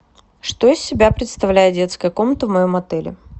что из себя представляет детская комната в моем отеле